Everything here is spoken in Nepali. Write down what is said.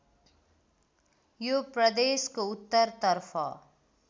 यो प्रदेशको उत्तरतर्फ